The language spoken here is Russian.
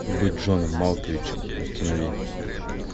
быть джоном малковичем установи